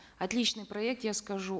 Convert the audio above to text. отличный проект я скажу